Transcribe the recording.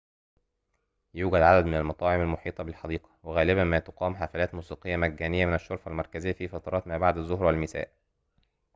يوجد عددٌ من المطاعم المحيطة بالحديقة وغالباً ما تُقام حفلاتٌ موسيقيةٌ مجانية ٌمن الشرفة المركزية في فترات ما بعد الظهر والمساء